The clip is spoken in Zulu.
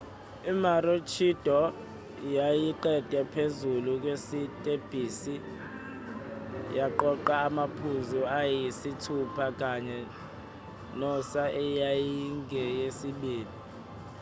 i-maroochydore yayiqede phezulu kwesitebhisi yaqoqa amaphuzu ayisithupha kune-noosa eyayingeyesibili